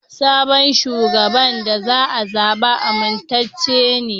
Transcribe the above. Sabon shugaban da aka zaɓa amintacce ne.